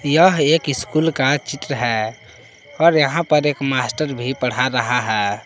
यह एक स्कूल का चित्र है और यहां पर एक मास्टर भी पढ़ा रहा है।